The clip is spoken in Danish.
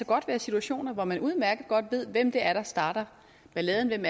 godt være situationer hvor man udmærket godt ved hvem det er der starter balladen hvem